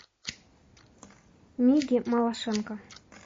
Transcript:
миге малашенко